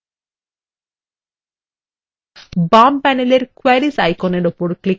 বাম প্যানেলের queries আইকনের উপর ক্লিক করুন